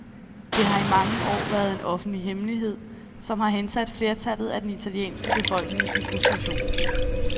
Det har i mange år været en offentlig hemmelighed, som har hensat flertallet af den italienske befolkning i frustration.